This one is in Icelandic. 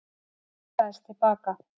Kastaðist til baka.